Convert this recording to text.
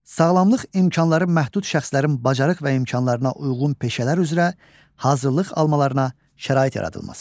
Sağlamlıq imkanları məhdud şəxslərin bacarıq və imkanlarına uyğun peşələr üzrə hazırlıq almalarına şərait yaradılması.